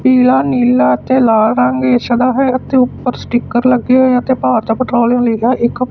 ਪੀਲਾ ਨੀਲਾ ਅਤੇ ਲਾਲ ਰੰਗ ਇਸ ਦਾ ਹੈ ਅਤੇ ਉੱਪਰ ਸਟਿੱਕਰ ਲੱਗੇ ਹੋਏ ਆ ਅਤੇ ਭਾਰਤ ਪੇਟ੍ਰੋਲਿਅਮ ਲੀਗਾ ਇੱਕ--